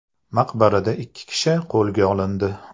Maqbarada ikki kishi qo‘lga olindi.